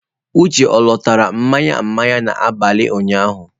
Uche ọ lọtara mmanya mmanya n'abalị ụnyaahụ